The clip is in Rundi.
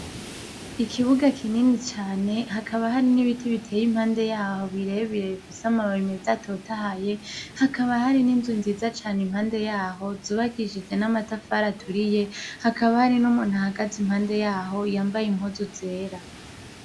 Ikibuga kinini cane, hakaba harimwo ibiti biteye impande yaho birebire bifise amababi meza atotahaye, hakaba hari n'inzu nziza cane impande yaho zubakishije n'amatafari aturiye, hakaba hari n'umuntu ahagaze impande yaho yambaye impuzu zera.